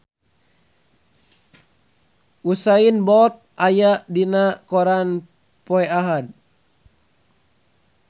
Usain Bolt aya dina koran poe Ahad